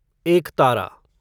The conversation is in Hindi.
एकतारा